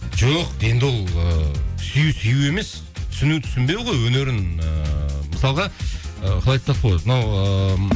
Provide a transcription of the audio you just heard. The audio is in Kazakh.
жоқ енді ол ыыы сүю сүю емес түсіну түсінбеу ғой өнерін ыыы мысалға ы қалай айтсақ болады мынау ыыы